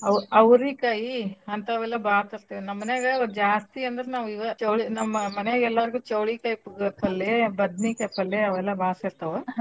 ಔ~ ಔರಿಕಾಯಿ ಹಂತಾವೆಲ್ಲಾ ಬಾಳ್ ತರ್ತೇವ್ ನಮ್ ಮಾನ್ಯಾಗ ಜಾಸ್ತಿ ಅಂದ್ರ ನಾವ್ ಇವ ಚವಳಿ ನಮ್ ಮನ್ಯಾಗ್ ಅಂದ್ರ ನಾವ್ ಇವ ಎಲ್ಲರಗೂ ಚವ್ಳಿಕಾಯಿಪಲ್ಲೆ ಬದ್ನಿಕಾಯ್ಪಲ್ಲೇ ಅವ್ ಎಲ್ಲಾ ಬಾಳ್ ಸೇರ್ತವ್.